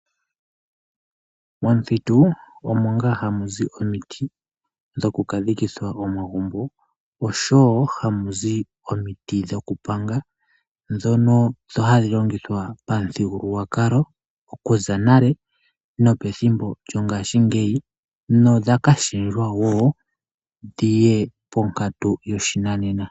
Momuthitu omo nga hamuzi omiti dhoku ka dhikitha omagumbo oshowo hamuzi omiti dhoku panga dhono hadhi longitha pamuthigululwakalo okuza nale nopethimbo lyongashingeyi nodha kashiwa wo dhiye ponkatu yopashinanena.